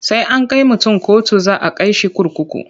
Sai an kai mutun kotu za a kai shi kurkuku.